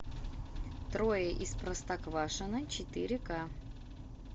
трое из простоквашино четыре ка